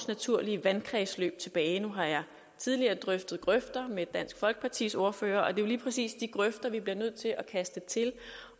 naturlige vandkredsløb tilbage nu har jeg tidligere drøftet grøfter med dansk folkepartis ordfører og det er jo lige præcis de grøfter vi bliver nødt til at kaste til